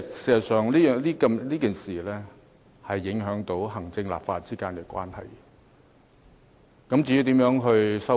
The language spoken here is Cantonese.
事實上，這件事已影響行政機關與立法會之間的關係。